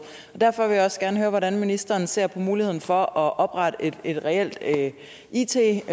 derfor vil jeg også gerne høre hvordan ministeren ser på muligheden for at oprette et reelt it